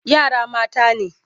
Yara mata ne.